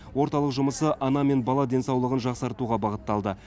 орталық жұмысы ана мен бала денсаулығын жақсартуға бағытталды